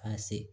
K'a se